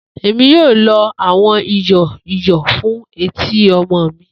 Emi yoo lo awọn iyọ iyọ fun eti ọmọ mi.